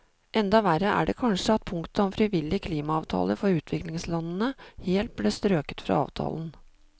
Enda verre er det kanskje at punktet om frivillige klimaavtaler for utviklingslandene helt ble strøket fra avtalen.